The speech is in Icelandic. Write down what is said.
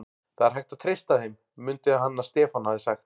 Það er hægt að treysta þeim, mundi hann að Stefán hafði sagt.